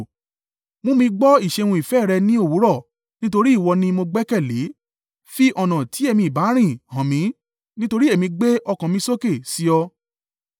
Mú mi gbọ́ ìṣeun ìfẹ́ rẹ ní òwúrọ̀: nítorí ìwọ ni mo gbẹ́kẹ̀lé. Fi ọ̀nà tí èmi i bá rìn hàn mí, nítorí èmi gbé ọkàn mi sókè sí ọ.